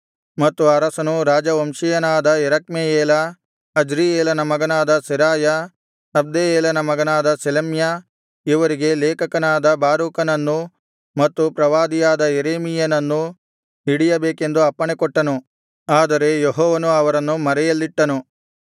ಮತ್ತು ಅರಸನು ರಾಜವಂಶೀಯನಾದ ಎರಖ್ಮೆಯೇಲ ಅಜ್ರಿಯೇಲನ ಮಗನಾದ ಸೆರಾಯ ಅಬ್ದೆಯೇಲನ ಮಗನಾದ ಶಲೆಮ್ಯ ಇವರಿಗೆ ಲೇಖಕನಾದ ಬಾರೂಕನನ್ನೂ ಮತ್ತು ಪ್ರವಾದಿಯಾದ ಯೆರೆಮೀಯನನ್ನೂ ಹಿಡಿಯಬೇಕೆಂದು ಅಪ್ಪಣೆಕೊಟ್ಟನು ಆದರೆ ಯೆಹೋವನು ಅವರನ್ನು ಮರೆಯಲ್ಲಿಟ್ಟನು